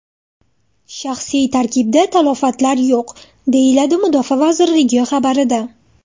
Shaxsiy tarkibda talafotlar yo‘q”, deyiladi Mudofaa vazirligi xabarida.